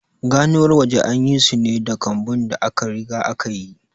Ganuwar waje an yi su ne da kambun da aka riga aka yi.